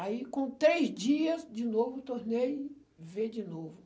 Aí, com três dias, de novo, tornei ver de novo.